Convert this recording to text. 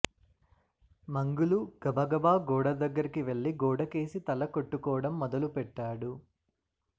మంగులు గబగబా గోడ దగ్గరికి వెళ్ళి గోడకేసి తల కొట్టుకోడం మొదలుపెట్టాడు